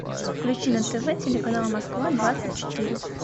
включи на тв телеканал москва двадцать четыре